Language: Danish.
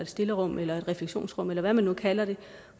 stillerum eller et refleksionsrum eller hvad man nu kalder det